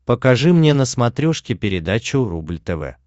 покажи мне на смотрешке передачу рубль тв